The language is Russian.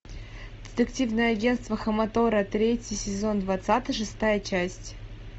детективное агентство хаматора третий сезон двадцатый шестая часть